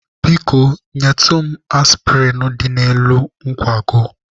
Biko nyetụ m aspirin dị n'elu nkwago.